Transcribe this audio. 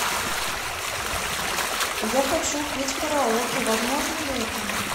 я хочу петь караоке возможно ли это